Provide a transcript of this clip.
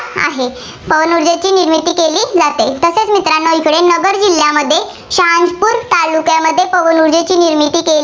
आहे. पवन ऊर्जेची निर्मिती केली जाते. तसेच मित्रांनो नगर जिल्ह्यामध्ये तालुक्यामध्ये पवन ऊर्जेची निर्मिती केली